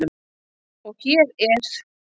Og hér er